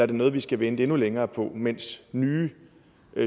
det noget vi skal vente endnu længere på mens nye